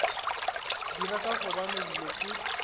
dira ka gobane dilo ke